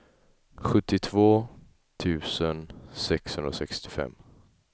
sjuttiotvå tusen sexhundrasextiofem